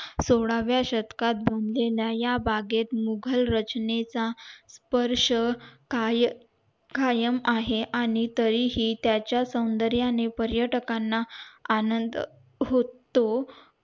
सोळाव्या शतकात बांधलेल्या या बागेत मुघल राजनेता स्पर्श काय कायम आहे आणि तरीही त्याच्या सौंदर्याने पर्यटकाने आनंद होतो